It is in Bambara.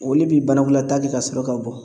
Olu bi banakɔlata kɛ ka sɔrɔ ka bɔ